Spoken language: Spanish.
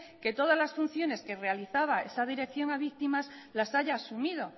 que todas las funciones que realizaba esa dirección las haya asumido